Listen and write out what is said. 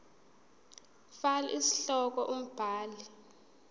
fal isihloko umbhali